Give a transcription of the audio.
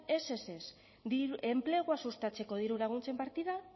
ez ez ez enplegua sustatzeko dirulaguntzen partidan